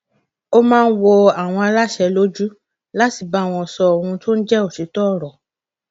ó máa ń wọ àwọn aláṣẹ lójú láti bá wọn sọ ohun tó ń jẹ òtítọ ọrọ